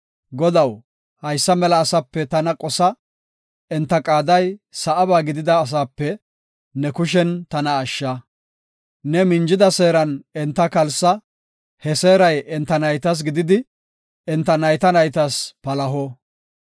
Godaw, haysa mela asape tana qosa; enta qaaday sa7aba gidida asape ne kushen tana ashsha. Ne minjida seeran enta kalsa; he seeray enta naytas gididi, enta nayta naytas palaho.